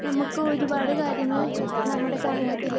speaker 2 നമുക്ക് ഒരുപാട് കാര്യങ്ങൾ നമ്മുടെ സമൂഹത്തില്